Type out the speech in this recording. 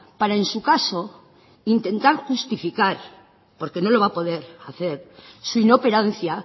para en su caso intentar justificar porque no lo va a poder hacer su inoperancia